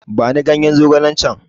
Bani ganye zogalen can!